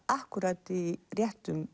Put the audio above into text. akkúrat í réttum